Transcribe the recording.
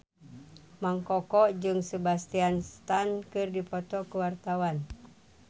Mang Koko jeung Sebastian Stan keur dipoto ku wartawan